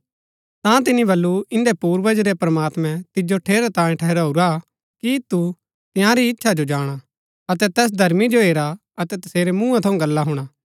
ता तिनी बल्लू इन्दै पूर्वज रै प्रमात्मैं तिजो ठेरैतांये ठहराऊरा कि तु तंयारी इच्छा जो जाणा अतै तैस धर्मी जो हेरा अतै तसेरै मूँहा थऊँ गल्ला हुणा